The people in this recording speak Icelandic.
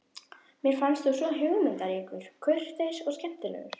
Mér fannst þú svo hugmyndaríkur, kurteis og skemmtilegur.